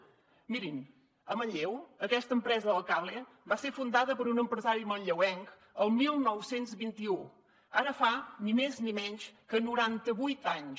mirin a manlleu aquesta empresa del cable va ser fundada per un empresari manlleuenc el dinou vint u ara fa ni més ni menys que noranta vuit anys